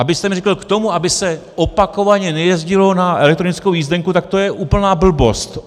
Abyste mi řekl, k tomu, aby se opakovaně nejezdilo na elektronickou jízdenku, tak to je úplná blbost.